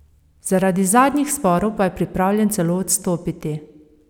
Zaradi zadnjih sporov pa je pripravljen celo odstopiti.